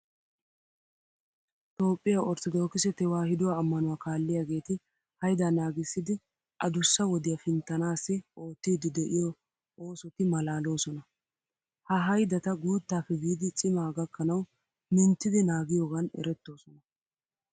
Toophphiya orttodookise tewaahiduwa ammanuwa kaalliyageeti haydaa naagissidi adussa wodiya pinttanaassi oottiiddi de'iyo oosoti maalaaloosona. Ha haydata guuttaappe biidi cimaa gakkanawu minttidi naagiyogan erettoosona